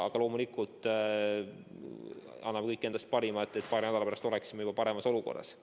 Aga loomulikult anname kõik endast parima, et paari nädala pärast oleksime juba paremas olukorras.